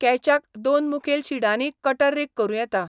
कॅचाक दोन मुखेल शिडांनीय कटर रीग करूं येता.